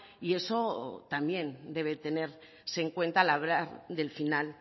y eso también debe tenerse en cuenta a la hora del final